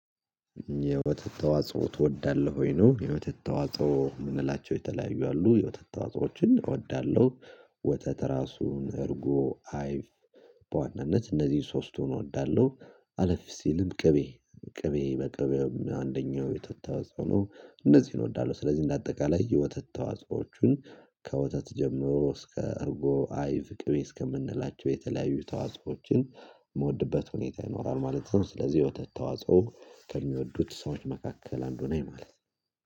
የወተት ተዋጽኦ ትወዳለህ ወይ? ነው የወተት ተዋጽኦ የምንላቸው የተለያዩ አሉ የወተት ተዋጽኦዎችን እወዳለሁ ወተት ራሱን እርጎ አይፍ በዋናነት እነዚህን ሶስቱን እወዳለሁ አለፍ ሲልም ቅቤ ቅቤ በቅቤውም አንደኛው የተወጠው ነው እንደዚህ እወዳለሁ ስለዚህ እንደ አጠቃላይ የወተት ተዋጽኦዎችን ከወተት ጀምሮ እስከ እርጎ አይብ ቅቤ እስከምንላቸው የተለያዩ ተዋጽኦዎችን የምወድበት ሁኔታ ይኖራል ማለትም ስለዚህ የወተት ተዋጽኦ ከሚወዱት ሰዎች መካከል አንዱ ነው ማለት